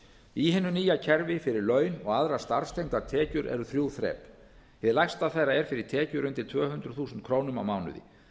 í hinu nýja kerfi fyrir laun og aðrar starfstengdar tekjur eru þrjú þrep hið lægsta þeirra er fyrir tekjur undir tvö hundruð þúsund krónur á mánuði